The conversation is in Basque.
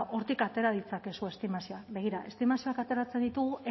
hortik atera ditzakezue estimazioak begira estimazioak ateratzen ditugu